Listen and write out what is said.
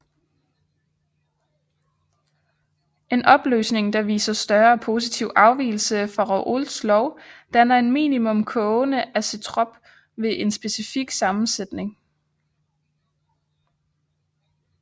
En opløsning der viser større positiv afvigelse fra Raoults lov danner en minimum kogende azeotrop ved en specifik sammensætning